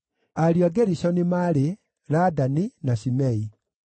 Ariũ a Gerishoni maarĩ: Ladani na Shimei.